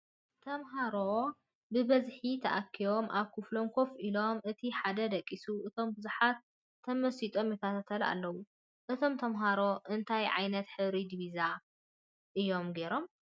ተምሃሮ ብበዝሒ ተኣኪቦም ኣብ ክፍሎም ኮፍ ኢሎም እቲ ሓደ ደቂሱ እቶም ብዙሓት ተመሲጦም ይከታተሉ ኣለዉ። እቶም ተምሃሮ እንታይ ዓይነት ሕብሪ ዲቪዛ እዮም ጌሮም ?